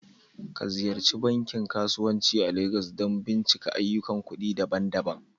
Ka Ziyarci bankin kasuwanci a Legas don bincika ayyukan kuɗi daban-daban